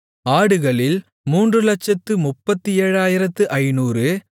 ஆடுகளில் 337500